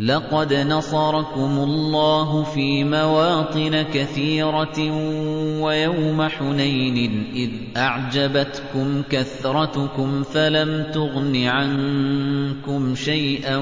لَقَدْ نَصَرَكُمُ اللَّهُ فِي مَوَاطِنَ كَثِيرَةٍ ۙ وَيَوْمَ حُنَيْنٍ ۙ إِذْ أَعْجَبَتْكُمْ كَثْرَتُكُمْ فَلَمْ تُغْنِ عَنكُمْ شَيْئًا